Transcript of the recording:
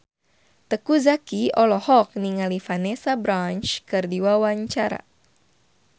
Teuku Zacky olohok ningali Vanessa Branch keur diwawancara